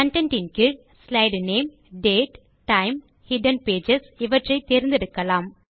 content கீழ் slide name date time hidden pages இவற்றை தேர்ந்தெடுக்கலாம்